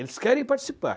Eles querem participar.